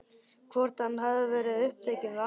Hvort hann hafi verið upptekinn við annað?